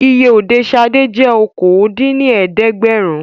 Iye Òde Ṣadé jẹ́ okòó dín ní ẹ̀ẹ́dẹ́gbẹ́rún